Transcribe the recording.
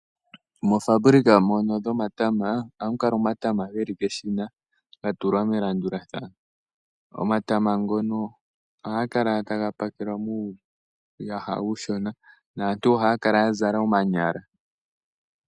Moofambulika mono dhomatama , ohamu kala omatama geli keshina ga tulwa melandulathano. Omatama ngono ohaga kala taga pakelwa muuyaha uushona , naantu ohaya kala ya zala omanyala .